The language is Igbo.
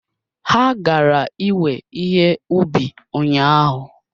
Ha gara iwe ihe ubi ụnyahụ